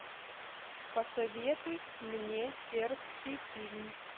посоветуй мне сербский фильм